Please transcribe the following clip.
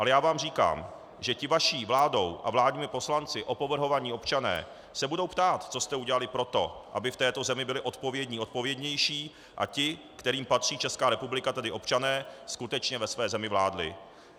Ale já vám říkám, že ti vaší vládou a vládními poslanci opovrhovaní občané se budou ptát, co jste udělali pro to, aby v této zemi byli odpovědní odpovědnější a ti, kterým patří Česká republika, tedy občané, skutečně ve své zemi vládli.